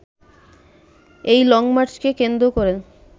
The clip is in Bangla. এই লংমার্চকে কেন্দ্র করে